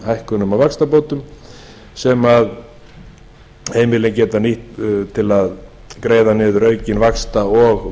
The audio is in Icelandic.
hækkunum á vaxtabótum sem heimilin geta nýtt til að greiða niður aukinn vaxta og